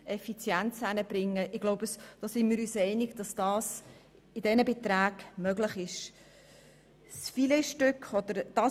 Ich denke, wir sind uns einig, dass es möglich ist, die Effizienz in diesem Umfang zu steigern.